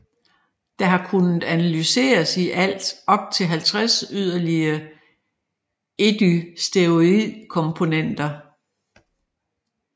Der har kunnet analyseres i alt op til 50 yderligere ecdysteroidkomponenter